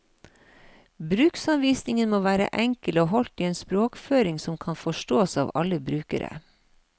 Bruksanvisningen må være enkel og holdt i en språkføring som kan forstås av alle brukere.